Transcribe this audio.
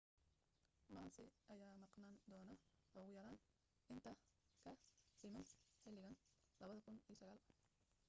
massa ayaa maqnaan doono ugu yaraan inta ka dhiman xiligan 2009